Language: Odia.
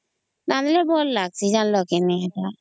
ରାନ୍ଧିଲେ ଭଲ ଲାଗିଛି ଜାଣିଲା କି ନାଇଁ